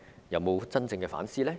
有否真正反思？